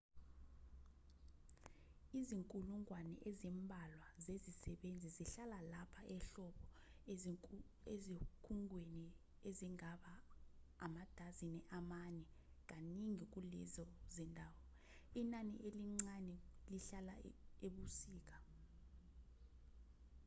izinkulungwane ezimbalwa zezisebenzi zihlala lapha ehlobo ezikhungweni ezingaba amadazini amane kaningi kulezo zindawo inani elincane lihlala ebusika